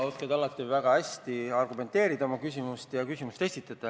Sa oskad alati väga hästi oma küsimusi argumenteerida ja küsimusi esitada.